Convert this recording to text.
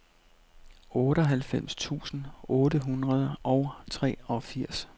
otteoghalvfems tusind otte hundrede og treogfirs